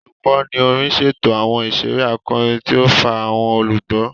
Olukọni orin ṣeto awọn iṣere akọrin tí o fa awọn olugbo.